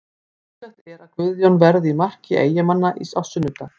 Líklegt er að Guðjón verði í marki Eyjamanna á sunnudag.